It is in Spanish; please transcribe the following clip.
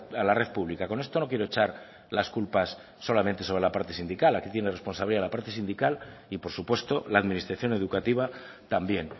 a la red pública con esto no quiero echar las culpas solamente sobre la parte sindical aquí tiene responsabilidad la parte sindical y por supuesto la administración educativa también